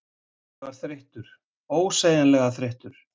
Ég var þreyttur, ósegjanlega þreyttur.